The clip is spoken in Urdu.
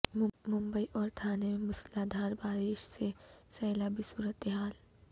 ممبئی اور تھانے میں موسلادھار بارش سے سیلابی صورتحال